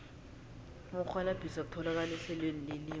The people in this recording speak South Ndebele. ukurhwalabhisa kutholakala ehlelweni lelimi